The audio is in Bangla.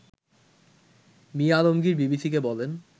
মি আলমগীর বিবিসিকে বলেন